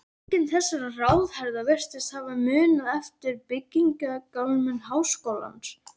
Enginn þessara ráðherra virðist hafa munað eftir byggingamáli háskólans.